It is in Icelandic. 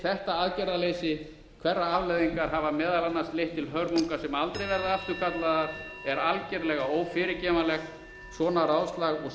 þetta aðgerðarleysi hverrar afleiðingar hafa meðal annars leitt til hörmunga sem aldrei verða afturkallaðar er algerlega ófyrirgefanlegt svona ráðslag og